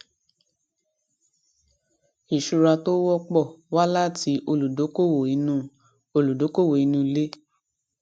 ìṣura tó wọpọ wá láti olùdókòwò inú olùdókòwò inú ilé